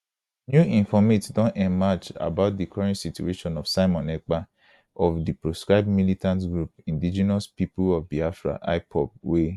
new informate don emerge about di current situation of simon ekpa of di proscribed militant group indegenous pipo of biafra ipob wey